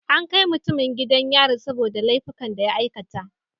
An kai mutumin gidan yari saboda laifukan da ya aikata.